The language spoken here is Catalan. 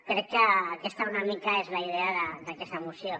crec que aquesta una mica és la idea d’aquesta moció